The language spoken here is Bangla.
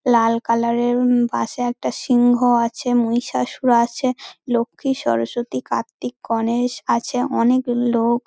লাল কালার -এর উম পাশে একটা সিংহ আছে মহিষাসুর আছে। লক্ষ্মী সরস্বতী কার্তিক গণেশ আছে অনেক লোক--